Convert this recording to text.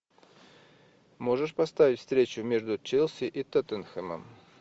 можешь поставить встречу между челси и тоттенхэмом